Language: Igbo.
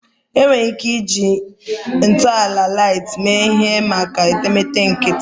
Enwere ike iji ntọala light mee ihe maka etemeete nkịtị